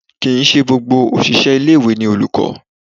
Kì í ṣe gbogbo òṣìṣẹ́ ilé-ìwé ni olùkọ́